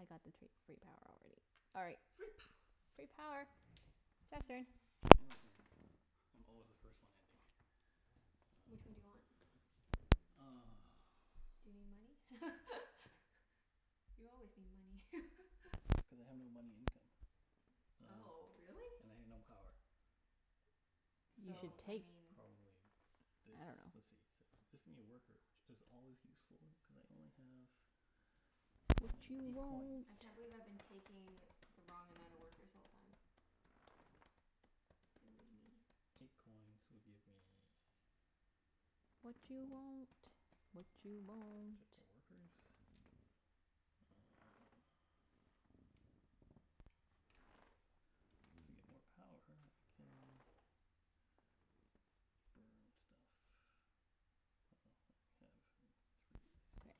I got the tree free power already. All right. Free power. Free power. Jeff's turn. End my turn. I'm always the first one ending. Which one do you want? Um Do you need money? You always need money. That's cuz I have no money income, uh Oh, really? and I have no power. You So, So, should I take, mean probably this? I dunno. Let's see. So, this could be a worker which is always useful, cuz I only have I have Watchu eight coins. want? I can't believe I've been taking the wrong amount of workers the whole time. Silly me. Eight coins would give me Watchu want? Watchu want? more workers. Um To get more power I can burn stuff. Well, I have three, so Great.